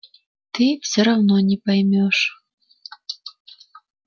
ты всё равно не поймёшь